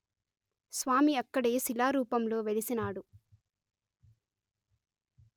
స్వామి అక్కడే శిలారూపంలో వెలసినాడు